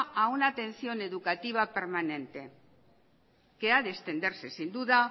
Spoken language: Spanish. a una atención educativa permanente que ha de extenderse sin duda